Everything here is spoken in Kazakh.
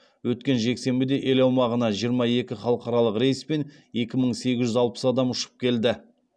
өткен жексенбіде ел аумағына жиырма екі халықаралық рейспен екі мың сегіз жүз алпыс адам ұшып келді